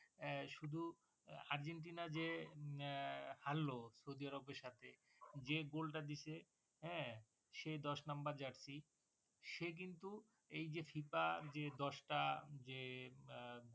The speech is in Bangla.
আহ শুধু আর্জেন্টিনা যে এ হারলো সৌদি আরাবিয়ার সাথে যে goal টা যে goal টা দিছে হ্যাঁ সে দশ নম্বর jersey সে কিন্তু এই যে FIFA যে দশটা যে আহ